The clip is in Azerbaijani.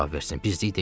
Bizlik deyil.